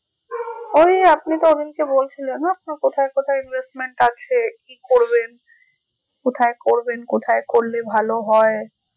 ওই আপনি তো ওদিনকে বলছিলেন না আপনার কোথায় কোথায় investment আছে কি করবেন কোথায় করবেন? কোথায় করলে ভালো হয়?